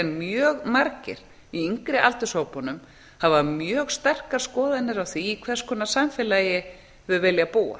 mjög margir í yngri aldurshópunum hafa mjög sterkar skoðanir á því í hvers konar samfélagi þau vilja búa